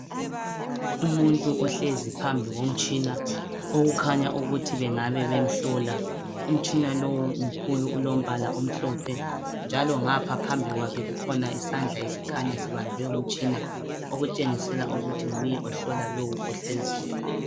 Umuntu ohlezi phambi komtshina, okukhanya ukuthi bengabe bemhlola. Umtshina lo umkhulu ulombala omhlophe njalo ngapha phambi kwakhe kukhona isandla esikhanya sibambe umtshina, okutshengisela ukuthi nguye ohlola lowu ohleziyo.